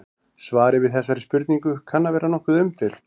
Svarið við þessari spurningu kann að vera nokkuð umdeilt.